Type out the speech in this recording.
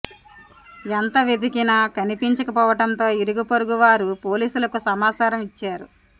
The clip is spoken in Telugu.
ఎంత వెదికినా కనిపించకపోవడంతో ఇరుగు పొరుగు వారు పోలీస్ లకు సమాచారం ఇచ్చారు